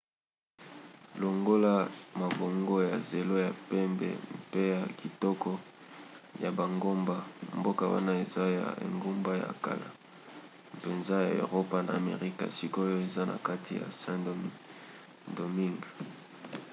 longola mabongo ya zelo ya pembe mpe ya kitoko ya bangomba mboka wana eza na engumba ya kala mpenza ya eropa na amerika sikoyo eza na kati ya saint-domingue